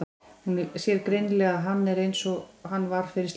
Hún sér greinilega að hann er einsog hann var fyrir slysið.